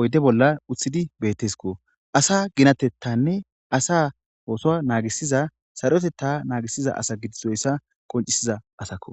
oyide bolla utidi betesko asa ginatethanee asa sarotetha nagisida asa gidoysa qonicises asako